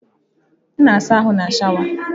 M na asa ahụ na sháwà.